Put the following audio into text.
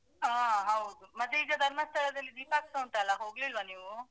ಹಾ ಹೌದು. ಮತ್ತೆ ಈಗ ಧರ್ಮಸ್ಥಳದಲ್ಲಿ ದೀಪೋತ್ಸವ ಉಂಟಲ್ಲ ಹೋಗ್ಲಿಲ್ವಾ ನೀವು?